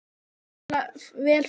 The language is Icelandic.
Þá mun vel fara.